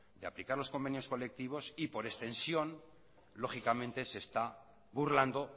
de aplicar los convenios colectivos y por extensión lógicamente se está burlando